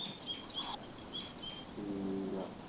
ਠੀਕ ਆ।